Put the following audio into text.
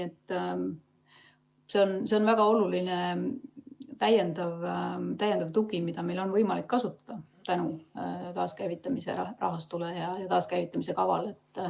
See on väga oluline täiendav tugi, mida meil on võimalik kasutada tänu taaskäivitamise rahastule ja taaskäivitamise kavale.